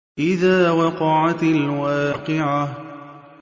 إِذَا وَقَعَتِ الْوَاقِعَةُ